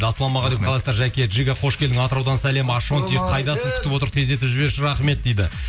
ассалаумағалейкум қалайсыздар жәке жига қош келдің атыраудан сәлем ашонти қайдасың күтіп отыр тездетіп жіберші рахмет дейді